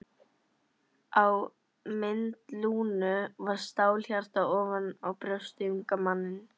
Á mynd Lúnu var stálhjarta ofan á brjósti unga mannsins.